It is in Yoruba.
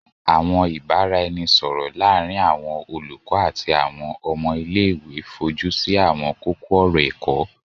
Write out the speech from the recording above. Àwọn ìbáraẹnisọ̀rọ̀ láàrin àwọn olùkọ́ àti àwọn ọmọ ilé-ìwé fojúsí àwọn kókó-ọ̀rọ̀ ẹ̀kọ́.